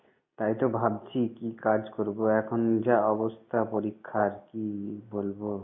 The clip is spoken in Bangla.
তাই তো ভাবছি কি কাজ করবো এখন যা অবস্থা পরীক্ষার কি বলবো